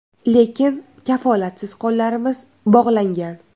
Lekin kafolatsiz qo‘llarimiz bog‘langan.